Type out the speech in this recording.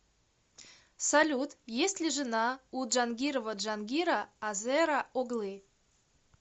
салют есть ли жена у джангирова джангира азера оглы